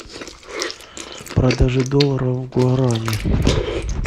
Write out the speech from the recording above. продажа долларов в гуарани